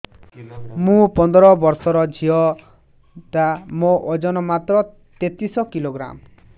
ମୁ ପନ୍ଦର ବର୍ଷ ର ଝିଅ ଟା ମୋର ଓଜନ ମାତ୍ର ତେତିଶ କିଲୋଗ୍ରାମ